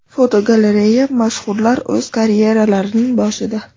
Fotogalereya: Mashhurlar o‘z karyeralarining boshida.